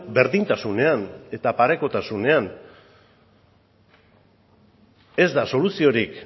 berdintasunean eta parekotasunean ez da soluziorik